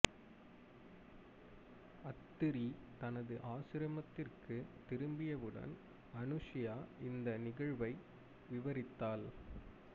அத்திரி தனது ஆசிரமத்திற்கு திரும்பியவுடன் அனசுயா இந்த நிகழ்வை விவரித்தாள்